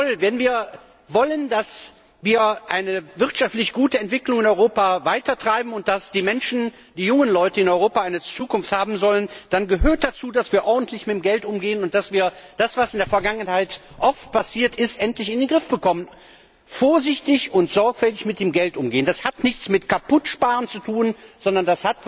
Jawohl, wenn wir wollen, dass wir eine gute wirtschaftliche Entwicklung in Europa weitertreiben und dass die Menschen, die jungen Leute in Europa eine Zukunft haben sollen, dann gehört dazu, dass wir ordentlich mit dem Geld umgehen und dass wir das, was in der Vergangenheit oft passiert ist, endlich in den Griff bekommen. Vorsichtig und sorgfältig mit dem Geld umgehen, das hat nichts mit Kaputtsparen zu tun, sondern